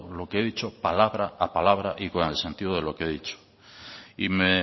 lo que he dicho palabra a palabra y con el sentido de lo he dicho y me